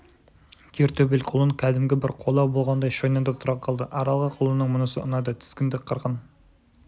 кер төбел құлын кәдімгі бір қолау болғандай шойнаңдап тұра қалды аралға құлынның мұнысы ұнады тізгінді қырын